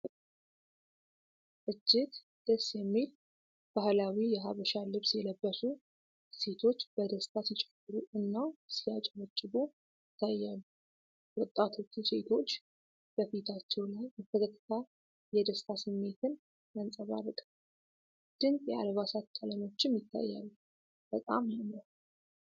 እጅግ ደስ የሚል! ባህላዊ የሐበሻ ልብስ የለበሱ ሴቶች በደስታ ሲጨፍሩ እና ሲያጨበጭቡ ይታያሉ። ወጣቶቹ ሴቶች በፊታቸው ላይ በፈገግታ የደስታ ስሜት ያንጸባርቃሉ፤ ድንቅ የአልባሳት ቀለሞችም ይታያሉ። በጣም ያምራል!